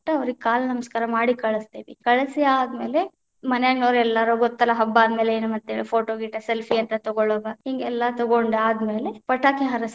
ಅವರಿಗೆ ಕಾಲ ನಮಸ್ಕಾರ ಮಾಡಿ ಕಳಸ್ತೇವಿ, ಕಳಸಿ ಆದ ಮೇಲೆ ಮನ್ಯಾನ್ನವರೆಲ್ಲಾನು ಗೊತ್ತಲ್ಲಾ ಹಬ್ಬಾ ಅಂದ ಮೇಲೆ ಏನ್ photo ಗೀಟೊ selfie ಅಂತ ತಗೊಳುದ, ಹಿಂಗ ಎಲ್ಲಾ ತಗೊಂಡ ಆದ ಮೇಲೆ ಪಟಾಕಿ ಹಾರಸತೇವಿ.